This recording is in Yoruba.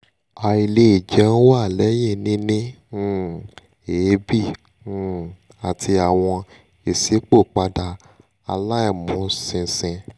aile jeun wa lẹhin nini um eebi um ati awọn isipopada alaimuṣinṣin